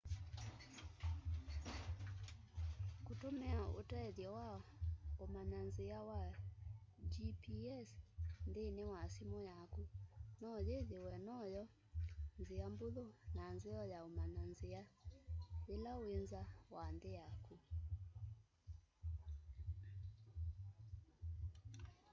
kũtũmĩa ũtethyo wa ũmanya nzĩa wa gps nthĩnĩ wa simu yaku no yĩthĩwe no my'o nzĩa mbũthũ na nzeo ya ũmanya nzĩa yĩla wĩ nza wa nthĩ yaku